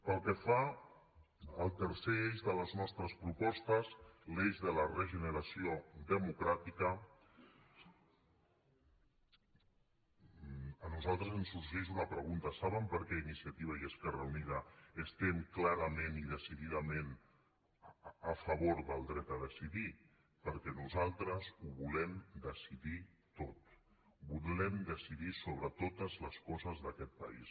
pel que fa al tercer eix de les nostres propostes l’eix de la regeneració democràtica a nosaltres ens sorgeix una pregunta saben per què iniciativa i esquerra uni·da estem clarament i decididament a favor del dret a decidir perquè nosaltres ho volem decidir tot vo·lem decidir sobre totes les coses d’aquest país